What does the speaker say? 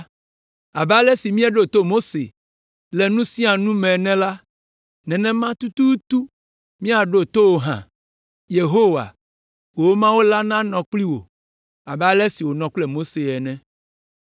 Abe ale si míeɖo to Mose le nu sia nu me ene la, nenema tututu míaɖo to wò hã. Yehowa, wò Mawu la nanɔ kpli wò abe ale si wònɔ kple Mose ene.